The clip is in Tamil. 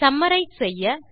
சம்மரைஸ் செய்ய